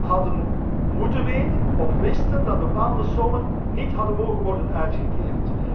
hadden moeten weten of wisten dat bepaalde sommen niet had mogen worden uitgekeerd.